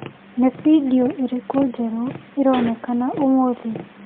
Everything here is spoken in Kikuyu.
Nĩ bindiũ ĩrĩkũ njerũ ĩronekana ũmũthĩ .